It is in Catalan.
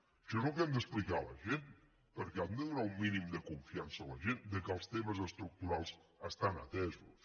això és el que hem d’explicar a la gent perquè hem de donar un mínim de confiança a la gent que els temes estructurals estan atesos